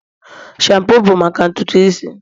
shampoos bụ maka ntutu isi